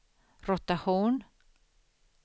rotation